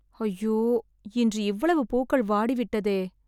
ஐயோ, இன்று இவ்வளவு பூக்கள் வாடிவிட்டதே..